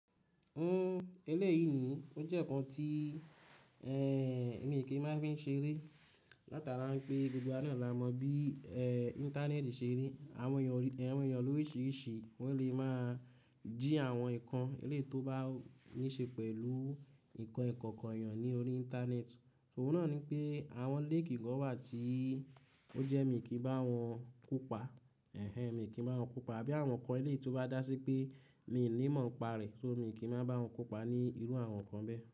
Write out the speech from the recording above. Uhm, eléyìí ni ó jẹ́ nǹkan tí, eh, mi kì í máa fi ń ṣeré. Láti alára pé gbogbo wa ní la mọ bí, eh, Íńtánẹ́ẹ̀tì ṣe rí. Àwọn èèyàn lóri ìṣ iríṣi wọ́n lè máa jí àwọn nǹkan eléyìí tó bá níí ṣe pẹ̀lú nǹkan ìkọ̀ọ̀kò èèyàn ní orí Íńtánẹ́ẹ̀tì. Ọ́ún náà ni pé àwọn leeki kọ́nwà tí ó jẹ́ mi kì í bá wọn kópa. Ẹ̀hẹ̀, mi kì í bá wọn kópa. Àbí àwọn nǹkan eléyìí tó bá dá sí pé mi ò ní mọ̀ ọ́n pa rẹ̀, ṣọ́ mi kì í máa bá wọn kópa ní irú àwọn nǹkan bẹ́ẹ̀